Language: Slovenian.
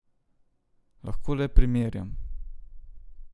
Lahko le primerjam.